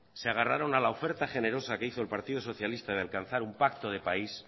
se agarraron a la oferta generosa que hizo el partido socialista de alcanzar un pacto de país